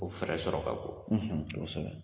O fɛɛrɛ sɔrɔ ka go kosɛbɛ.